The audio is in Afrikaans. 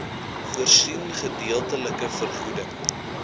voorsien gedeeltelike vergoeding